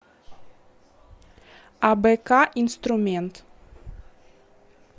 абк инструмент